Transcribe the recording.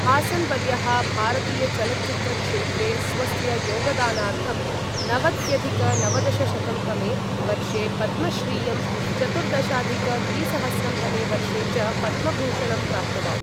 हासन् वर्यः भारतीयचलच्चित्रक्षेत्रे स्वस्य योगदानार्थं नवत्यधिक नवदशशतं तमे वर्षे पद्मश्रियं, चतुर्दशाधिक द्विसहस्रं तमे वर्षे च पद्मभूषणं प्राप्तवान्।